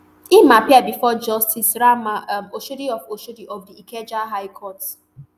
im appear bifor justice rahman um oshodi of oshodi of di ikeja high court